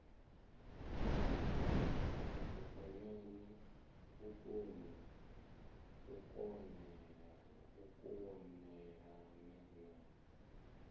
vhukonani u kon elelana na